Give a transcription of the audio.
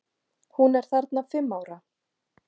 Hún er þarna fimm ára.